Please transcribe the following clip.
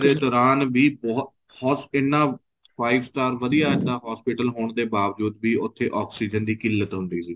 ਦੋਰਾਨ ਵੀ ਬਹੁਤ ਉਹ ਇੰਨਾ five star ਵਧੀਆ ਇੱਦਾਂ hospital ਹੋਣ ਦੇ ਬਾਵਜੂਦ ਵੀ ਉੱਥੇ oxygen ਦੀ ਕਿੱਲਤ ਹੁੰਦੀ ਸੀ